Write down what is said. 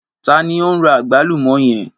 Ta ni o n ra àgbálùmọ́ yẹn?